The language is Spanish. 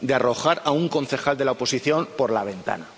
De arrojar a un concejal de la oposición por la ventana.